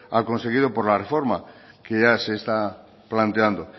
al conseguido por la reforma que ya se está planteando